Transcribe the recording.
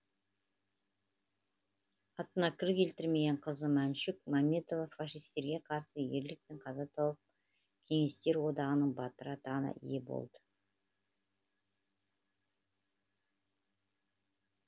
атына кір келтірмеген қызы маншүк мәметова фашистерге қарсы ерлікпен қаза тауып кеңестер одағының батыры атағына ие болады